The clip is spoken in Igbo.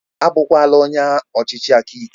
A bụkwala onye ọchịchị aka ike!.